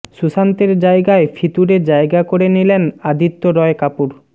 সুশান্তের জায়গায় ফিতুরে জায়গা করে নিলেন আদিত্য রয় কাপুর